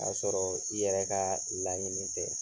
O y'a sɔrɔɔ i yɛrɛ ka laɲini tɛ.